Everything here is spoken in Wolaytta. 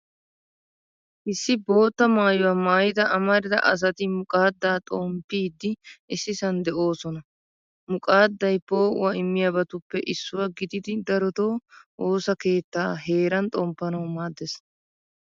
Issi bootta maayuwaa maayida amarida asati muqaadda xomppiiddi issisan de'oosona. Muqaadday poo'uwaa immiyaabatuppe issuwaa gididi darotoo, woosa keettaa heeran xomppanawu maaddees.